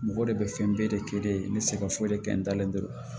Mɔgɔ de bɛ fɛn bɛɛ de kɛ yen n bɛ se ka foyi de kɛ n dalen don